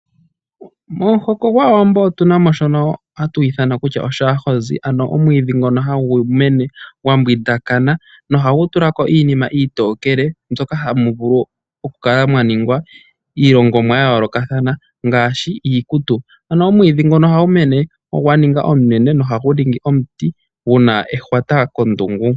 Momuhoko gwAawambo otuna mo shono hatu ithana kutya oshaahozi ano omwiidhi ngono hagu mene gwambwindakana, nohagu tula ko iinima iitokele mbyoka hamu vulu okukala mwaningwa iilongomwa yayoolokathana ngaashi iikutu. Ano omwiidhi ngono ohagu mene gwaninga omunene nohagu ningi omuti guna ehwata kondungu.